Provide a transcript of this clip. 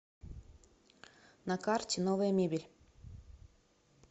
на карте новая мебель